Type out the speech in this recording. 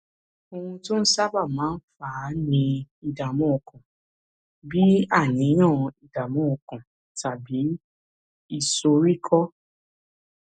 ohun tó sábà máa ń fà á ni ìdààmú ọkàn bí àníyàn ìdààmú ọkàn tàbí ìsoríkọ